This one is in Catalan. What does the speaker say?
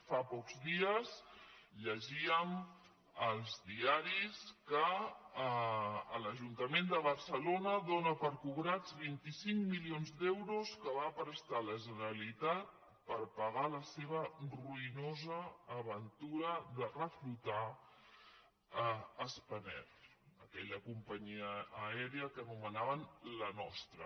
fa pocs dies llegíem als diaris que l’ajuntament de barcelona dóna per cobrats vint cinc milions d’euros que va prestar a la ge·neralitat per pagar la seva ruïnosa aventura de reflo·tar spanair aquella companyia aèria que anomenaven la nostra